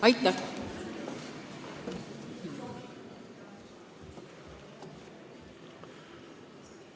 Aitäh!